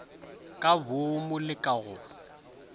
ka boomu le ka go